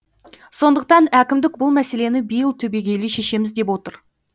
сондықтан әкімдік бұл мәселені биыл түбегейлі шешеміз деп отыр